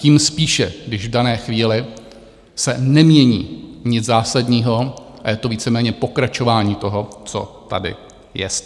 Tím spíše, když v dané chvíli se nemění nic zásadního a je to víceméně pokračování toho, co tady jest.